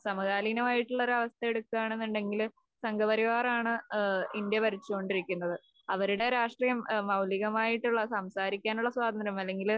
സമകാലീനമായിട്ടുള്ളൊരവസ്ഥ എടുക്കുകയാണെന്നുണ്ടെങ്കില് സംഘപരിവാറാണ് ഇന്ത്യ ഭരിച്ചുകൊണ്ടിരിക്കുന്നത്‌. അവരുടെ രാഷ്ട്രീയം മൗലീകമായിട്ടുള്ള സംസാരിക്കാനുള്ള സ്വാതന്ത്ര്യം അല്ലെങ്കില്